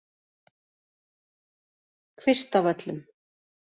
Kvistavöllum